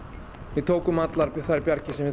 við tókum allar þær bjargir sem við